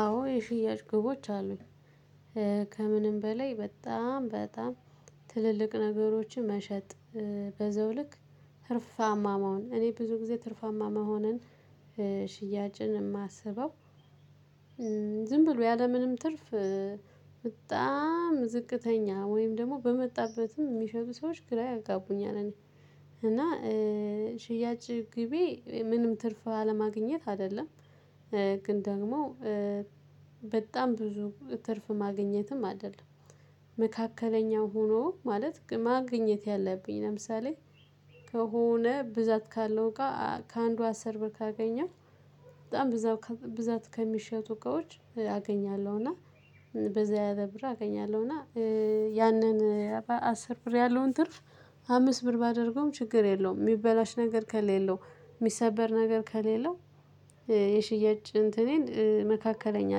አዎ የሽያጭ ግቦች አሉኝ። ከምንም በላይ በጣም በጣም ትልልቅ ነገሮችን መሸጥ በዛው ልክ ትርፋማ መሆን እኔ ብዙ ጊዜ ትርፋማ መሆንን ሽያጭን የማስበው ዝም ብሎ ያለምንም ትርፍ በጣም ዝቅተኛ ወይም ደግሞ በመጣበትም የሚሸጡ ሰዎች ግራ ያጋቡኛል። እኔ እና ሽያጭ ግቤ ምንም ትርፍ አለማግኘት አይደለም። ግን ደግሞ በጣም ብዙ ትርፍ ማግኘትም አይደለም። መካከለኛው ሆኖ ማለት ማግኘት ያለብኝ ለምሳሌ ከሆነ ብዛት ካለው ጋር ከአንዱ አስር ብር ካገኘሁት። በጣም ብዛት ከሚሸጡ እቃዎች አገኛለሁ። እና በዛ ያለብር አገኛለሁ እና ያንን አስር ብር ያለውን ትርፍ አምስት ብር ባደርገውም ችግር የለውም። የሚበላሽ ነገር ከሌለው የሚሰበር ነገር ከሌለው። የሽያጭ እንትኔን መካከለኛ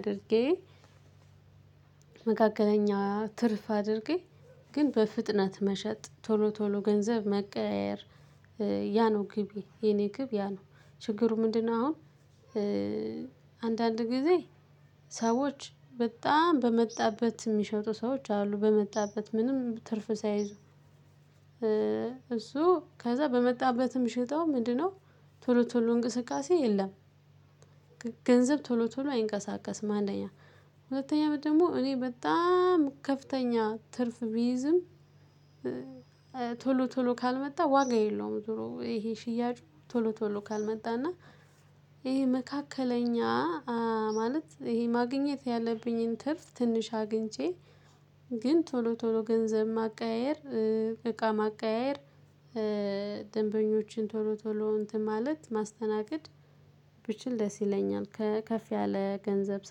አድርጌ መካከለኛ ትርፍ አድርጌ ግን በፍጥነት መሸጥ ቶሎ ቶሎ ገንዘብ መቀያየር ያ ነው ግቤ የኔ ግብ ያ ነው። ችግሩ ምንድነው? አሁን አንዳንድ ጊዜ ሰዎች በጣም በመጣበት የሚሸጡ ሰዎች አሉ በመጣበት ምንም ትርፍ ሳይዙ። እሱ ከዛ በመጣበትም ሽጠው ምንድነው? ቶሎ ቶሎ እንቅስቃሴ የለም። ገንዘብ ቶሎ ቶሎ አይንቀሳቀስም። አንደኛ ሁለተኛ ደግሞ እኔ በጣም ከፍተኛ ትርፍ ቢይዝም ቶሎ ቶሎ ካልመጣ ዋጋ የለውም። ዞሮ ይሄ ሽያጩ ቶሎ ቶሎ ካልመጣ እና ይሄ መካከለኛ ማለት ይሄ ማግኘት ያለብኝን ትርፍ ትንሽ አግኝቼ። ግን ቶሎ ቶሎ ገንዘብ ማቀያየር እቃ ማቀያየር ደንበኞችን ቶሎ ቶሎ እንትን ማለት ማስተናገድ ብችል ደስ ይለኛል። ከፍ ያለ ገንዘብ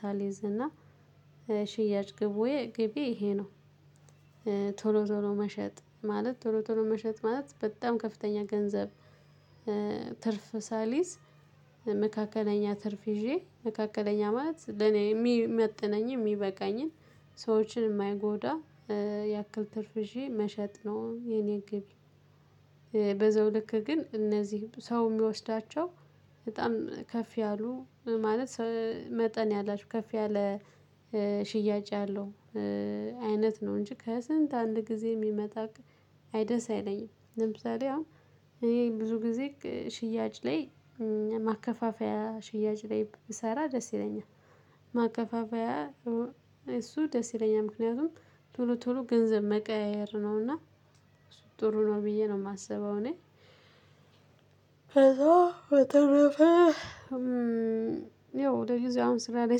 ሳልይዝ እና ሽያጭ ግቤ ይሄ ነው። ቶሎ ቶሎ መሸጥ ማለት ቶሎ ቶሎ መሸጥ ማለት በጣም ከፍተኛ ገንዘብ። ትርፍ ሳልይዝ መካከለኛ ትርፍ ይዤ መካከለኛ ማለት ለኔ የሚመጥነኝ የሚበቃኝን ሰዎችን የማይጎዳ ያክል ትርፍ ይዤ መሸጥ ነው። የኔ ግቤ። በዘው ልክ ግን እነዚህ ሰው የሚወስዳቸው በጣም ከፍ ያሉ ማለት መጠን ያላቸው ከፍ ያለ ሽያጭ ያለው አይነት ነው። እንጂ ከስንት አንድ ጊዜ የሚመጣ አይ ደስ አይለኝም። ለምሳሌ አሁን እኔ ብዙ ጊዜ ሽያጭ ላይ ማከፋፈያ ሽያጭ ላይ ብሰራ ደስ ይለኛል። ማከፋፈያ እሱ ደስ ይለኛል ምክንያቱም ቶሎ ቶሎ ገንዘብ መቀያየር ነውና። ጥሩ ነው ብዬ ነው የማስበው እኔ። ከዛ በተረፈ ያው ለጊዜው አሁን ስራ ላይ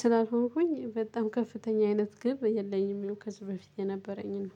ስላልሆንኩኝ በጣም ከፍተኛ አይነት ግብ የለኝም። ያው ከዚህ በፊት የነበረኝን ነው።